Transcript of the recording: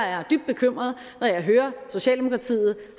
er dybt bekymret når jeg hører socialdemokratiet